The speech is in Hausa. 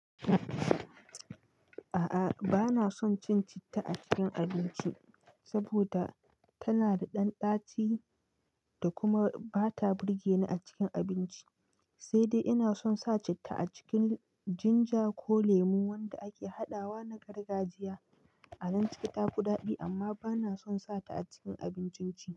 A'a bana son cin citta a cikin abinci saboda tana da ɗan ɗaci da kuma ba ta burge ni a cikin abinci, sai dai ina son sa citta a cikin ginger ko lemu wanda ake hadawa na gargajiya. A nan ciki ta fi daɗi amma bana son sa ta a cikin abincin ci.